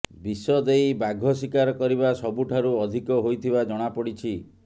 ବିଷ ଦେଇ ବାଘ ଶିକାର କରିବା ସବୁଠାରୁ ଅଧିକ ହୋଇଥିବା ଜଣାପଡିଛି